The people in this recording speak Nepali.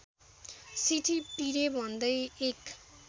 सिठी पिरे भन्दै १